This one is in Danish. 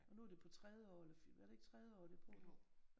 Og nu er det på tredje år eller var det ikke tredje år de er på nu